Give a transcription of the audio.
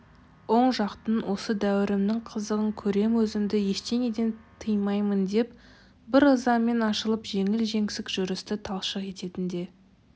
оң жақтың осы дәуренімнің қызығын көрем өзімді ештеңеден тыймаймын деп бір ызамен ашылып жеңіл-жеңсік жүрісті талшық ететін де